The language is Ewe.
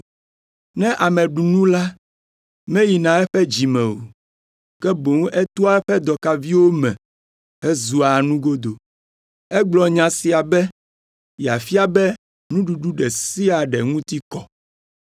Ne ame ɖu nu la, meyina eƒe dzi me o, ke boŋ etoa eƒe dɔkaviwo me hezua nugodo.” (Egblɔ nya sia be yeafia be nuɖuɖu ɖe sia ɖe ŋuti kɔ.)